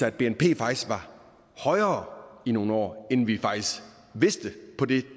at bnp faktisk var højere i nogle år end vi faktisk vidste på det